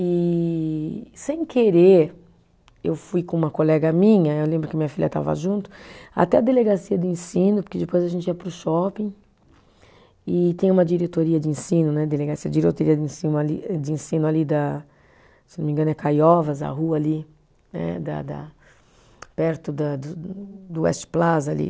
E, sem querer, eu fui com uma colega minha, eu lembro que a minha filha estava junto, até a Delegacia de Ensino, porque depois a gente ia para o shopping, e tem uma diretoria de ensino né, delegacia, diretoria de ensino ali, de ensino ali da, se eu não me engano é Caiovas, a rua ali, né da da, perto da do do West Plaza ali.